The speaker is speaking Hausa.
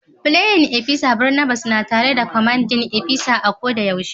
playin opisa Barnabas na tare da Commanding opisa a ko da yaushe.